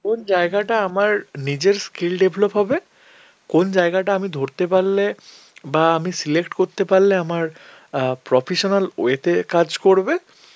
কোন জায়গাটা আমার নিজের skill develop হবে, কোন জায়গাটা আমি ধরতে পারলে বা আমি select করতে পারলে আমার অ্যাঁ professional way তে কাজ করবে